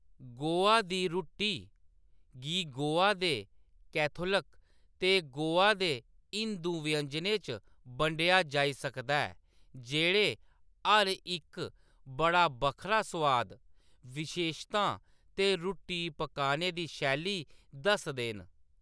गोवा दी रुट्टी गी गोवा दे कैथोलिक ते गोवा दे हिंदू व्यंजनें च बंडेआ जाई सकदा ऐ, जेह्‌‌ड़े हर इक बड़ा बक्खरा स्वाद, विशेशतां ते रुट्टी पकाने दी शैली दसदे न।